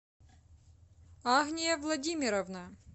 агния владимировна